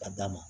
Ka d'a ma